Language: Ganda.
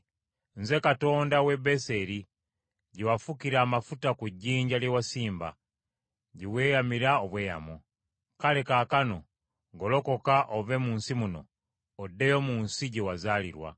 Nze Katonda w’e Beseri gye wafukira amafuta ku jjinja lye wasimba, gye weeyamira obweyamo. Kale kaakano golokoka ove mu nsi muno, oddeyo mu nsi gye wazaalirwa.’ ”